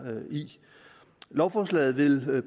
i lovforslaget vil